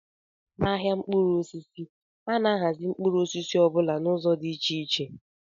N'ahịa mkpụrụ osisi, a na-ahazi mkpụrụ osisi ọ bụla n'ụzọ dị iche